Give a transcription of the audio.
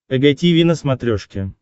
эг тиви на смотрешке